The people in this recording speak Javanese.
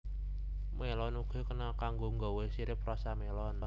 Mélon uga kena kanggo nggawé sirup rasa mélon